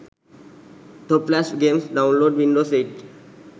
top flash games download windows 8